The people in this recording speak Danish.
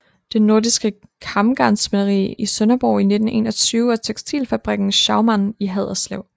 Det Nordiske Kamgarnsspinderi i Sønderborg i 1921 og tekstilfabrikken Schaumann i Haderslev